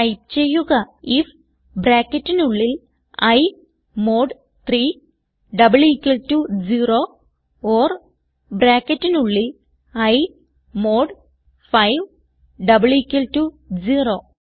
type ചെയ്യുക IF ബ്രാക്കറ്റിനുള്ളിൽ i mod 3 double equal to 0 or ബ്രാക്കറ്റിനുള്ളിൽ i mod double equal to 0